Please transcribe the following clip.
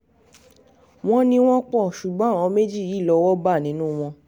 wọ́n ní wọ́n pọ̀ ṣùgbọ́n àwọn méjì yìí lọ́wọ́ bá nínú wọn